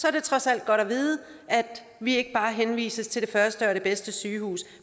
er det trods alt godt at vide at vi ikke bare henvises til det første og det bedste sygehus